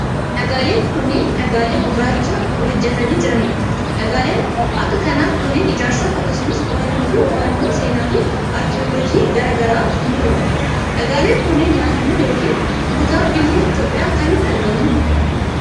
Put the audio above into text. Dhagaaleen kunneen, dhagaalee gurraacha ol ijjatanii jiranii dha. Dhagaaleen akka kanaa kunneen ijaarsaaf akkasumas qorannoo fi qo'annoo seenaa fi arkiyooloojii garaa garaatif ni oolu. Dhagaaleen kunneen naannoo yokin kutaa biyya Itoophiyaa kamitti argamu?